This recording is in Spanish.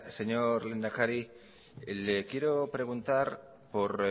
señor lehendakari le quiero preguntar por